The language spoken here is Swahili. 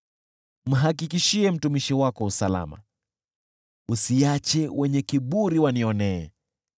Mhakikishie mtumishi wako usalama, usiache wenye kiburi wanionee.